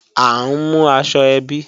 À ń mú aṣọ ẹbí